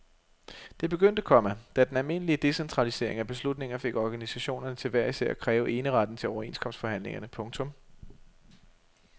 Det begyndte, komma da den almindelige decentralisering af beslutninger fik organisationerne til hver især at kræve eneretten til overenskomstforhandlingerne. punktum